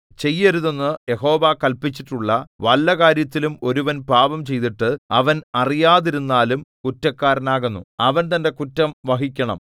ചെയ്യരുതെന്ന് യഹോവ കല്പിച്ചിട്ടുള്ള വല്ല കാര്യത്തിലും ഒരുവൻ പാപംചെയ്തിട്ട് അവൻ അറിയാതിരുന്നാലും കുറ്റക്കാരനാകുന്നു അവൻ തന്റെ കുറ്റം വഹിക്കണം